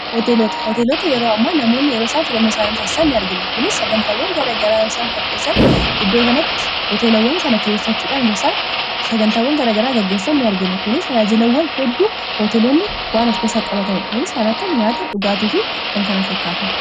hooteelota yeroo ammaa namoonni yeroo isaan filannoo isaanii taasisaan ni argina kunis sagantaawwan gara garaa isaan qopheessan iddoo kanatti hoteelawwan kana kireeffachuudhanaa sagantawan garaagaraa gaggeessan nI argina kunis tajaajilawwan hedduu hooteeloonni waan of keessaa qabatanidha kunis kan akka nyaata dhugaatiifi kan kana fakkaatan